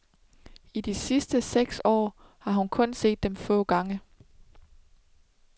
I de sidste seks år har hun kun set dem få gange.